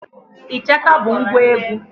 Ịchaka bụ ngwa egwu.